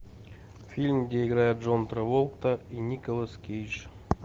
фильм где играет джон траволта и николас кейдж